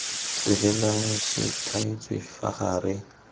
tswelelang se thaetswe fa gare